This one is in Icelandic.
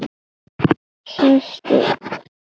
Sest upp.